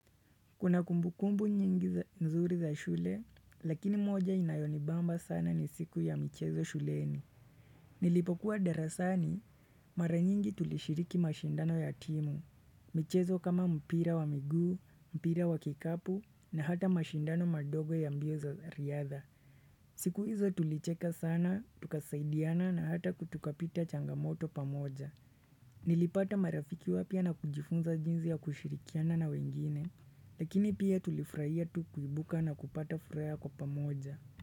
Kuna kumbukumbu nyingi nzuri za shule, lakini moja inayo ni bamba sana ni siku ya michezo shuleni. Nilipokuwa darasani, mara nyingi tulishiriki mashindano ya timu. Michezo kama mpira wa miguu, mpira wa kikapu, na hata mashindano madogo ya mbio za riadha. Siku hizo tulicheka sana, tukasaidiana na hata kutukapita changamoto pamoja. Nilipata marafiki wapya na kujifunza jinzi ya kushirikiana na wengine. Lakini pia tulifrahia tu kuibuka na kupata furaha kwa pamoja.